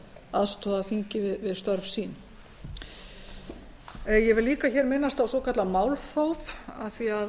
aðstoða þingið við störf sín ég vil líka minnast á svokallað málþóf af því að